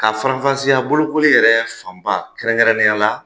Ka farafasiya bolokoli yɛrɛ fanba kɛrɛnkɛrɛnnenya la